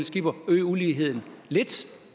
skipper øge uligheden lidt